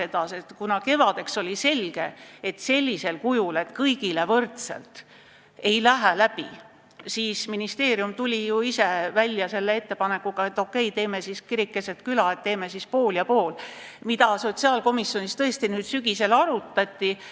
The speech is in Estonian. Ja kuna kevadeks oli selge, et sellisel kujul, et maksame kõigile võrdselt, ei lähe eelnõu läbi, siis ministeerium tuli välja ettepanekuga, et teeme siis kiriku keset küla, teeme skeemi pool ja pool, mida sotsiaalkomisjonis tõesti nüüd sügisel arutati.